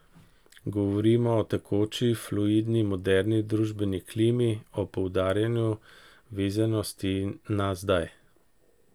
Govorimo o tekoči, fluidni moderni družbeni klimi, o poudarjanju vezanosti na zdaj.